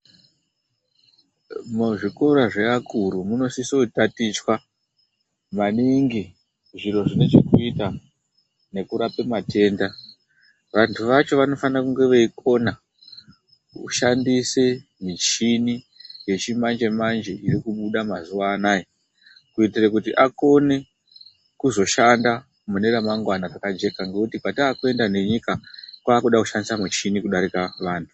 Muzvikora zveakuru munosise kutatichwa maningi zviro zvinechekuita nekurape matenda vantu vacho vanofanire kunge veikona kushandise michini yechimanjemanje irikubuda mazuano kuitire kuti akone kuzoshanda mune remangwana rekajeka, ngekuti kwatakuenda nenyika kwaakude kushandisa michini kudarika vanhu.